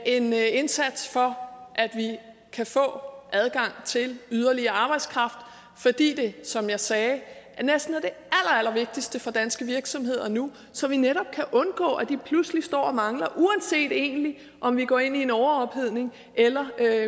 en indsats for at vi kan få adgang til yderligere arbejdskraft fordi det som jeg sagde næsten er det allerallervigtigste for danske virksomheder nu så vi netop kan undgå at de pludselig står og mangler uanset egentlig om vi går ind i en overophedning eller der